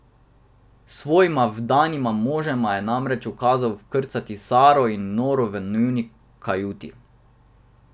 Svojima vdanima možema je namreč ukazal vkrcati Saro in Noro v njuni kajuti.